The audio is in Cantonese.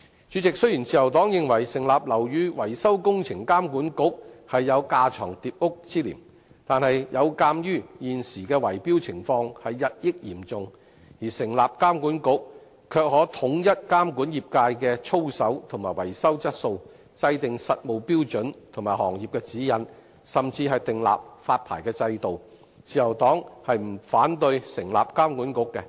主席，雖然自由黨認為成立"樓宇維修工程監管局"有架床疊屋之嫌，但鑒於現時圍標情況日益嚴重，成立監管局可以統一監管業界的操守和維修質素，制訂實務標準及行業指引，甚至訂立發牌制度，自由黨不反對成立監管局。